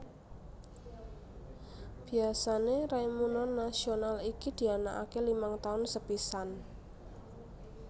Biasane raimuna nasional iki dianakake limang taun sepisan